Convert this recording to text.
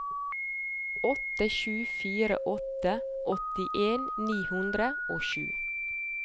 åtte sju fire åtte åttien ni hundre og sju